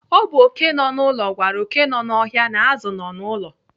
Ọ bụ oké nọ n'ụlọ gwara oké nọ n'ọhịa na azụ nọ n'ụlọ.